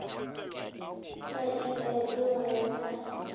la eia go ya ka